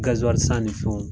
Gazuwali san ni fɛnw.